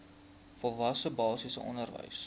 volwasse basiese onderwys